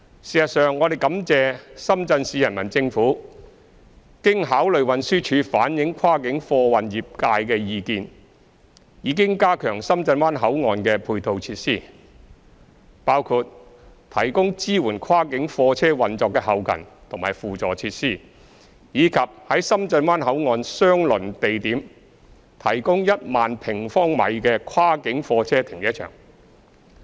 事實上，我們感謝深圳市人民政府經考慮運輸署反映跨境貨運業界的意見，已經加強深圳灣口岸的配套設施，包括提供支援跨境貨車運作的後勤及輔助設施，以及在深圳灣口岸相鄰地點提供1萬平方米的跨境貨車停車場。